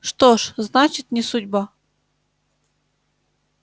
что ж значит не судьба